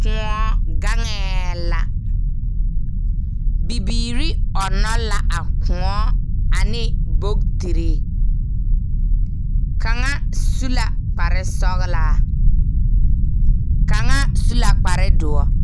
Kõɔ gaŋɛɛ la, bibiiri ɔnnɔ la a kõɔ ane bokitiri. Kaŋa su la kparesɔɔlaa, kaŋa su la kparedoɔ.